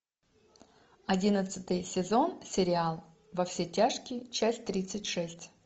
одиннадцатый сезон сериал во все тяжкие часть тридцать шесть